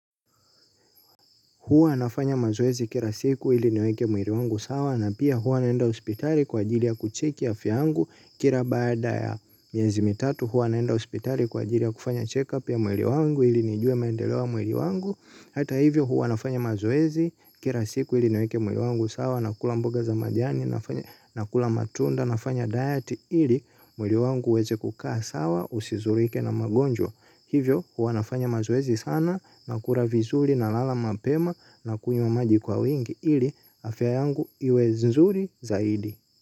Huwa nafanya mazoezi kila siku ili niweke mwili wangu sawa na pia huwa naenda hospitali kwa ajili ya kucheki afya yangu kila baada ya miezi mitatu. Huwa naenda hospitali kwa ajili ya kufanya checkup ya mwili wangu ili nijue maendeleo wa mwili wangu. Hata hivyo huwa nafanya mazoezi kila siku ili niweke mwili wangu sawa nakula mboga za majani nakula matunda nafanya diet ili mwili wangu uweze kukaa sawa usizulike na magonjwa. Hivyo, huwa nafanya mazoezi sana na kula vizuri nalala mapema nakunywa maji kwa wingi ili afya yangu iwe nzuri zaidi.